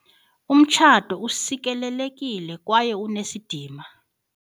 Umtshato usikelelekile kwaye unesidima.